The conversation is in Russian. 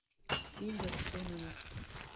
игорь кононов